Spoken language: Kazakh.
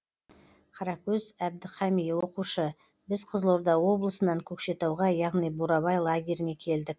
қаракөз әбдіқами оқушы біз қызылорда облысынан көкшетауға яғни бурабай лагеріне келдік